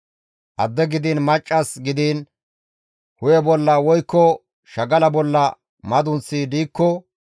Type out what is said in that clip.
«Adde gidiin maccas gidiin hu7e bolla woykko shagala bolla madunththi diikko,